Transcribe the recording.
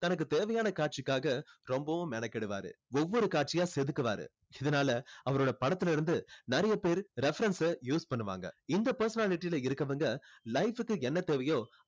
தனக்கு தேவையான காட்சிக்காக ரொம்பவும் மெனக்கெடுவாரு ஒவ்வொரு காட்சியா செதுக்குவாரு இதுனால அவரோட படத்துல இருந்து நிறைய பேர் reference அ use பண்ணுவாங்க இந்த personality ல இருக்கவங்க life கு என்ன தேவையோ